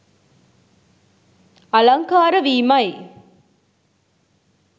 අලංකාර වීමයි.